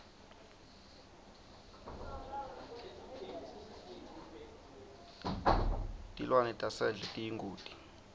tilwane tasendle tiyingoti